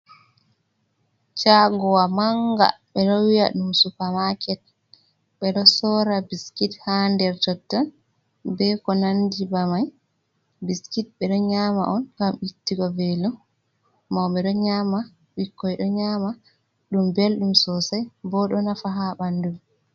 Shagowa manga ɓe ɗo wi'a ɗum supamaket ɓe ɗo sora biskit ha nder totton be ko nandi be mai, biskit ɓe ɗo nyama on ngam ittigo veelo mauɓe ɗo nyama bikkoi ɗo nyama ɗum belɗum sosai bo ɗo nafa ha bandu.